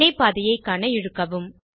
வினை பாதையை காண இழுக்கவும்